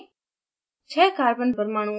panel पर click करें